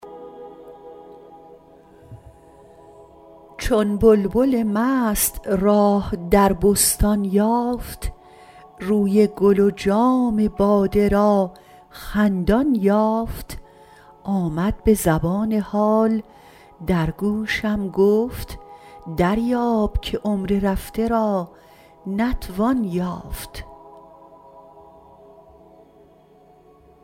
چون بلبل مست راه در بستان یافت روی گل و جام باده را خندان یافت آمد به زبان حال در گوشم گفت دریاب که عمر رفته را نتوان یافت